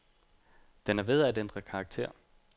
Den er ved at ændre karakter.